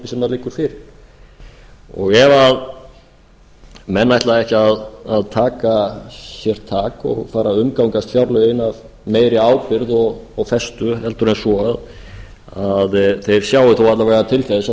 sem liggur fyrir ef menn ætla ekki að taka sér tak og fara að umgangast fjárlögin af meiri ábyrgð og festu heldur en svo að þeir sjái þó alla vega til þess að